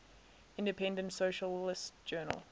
independent socialist journal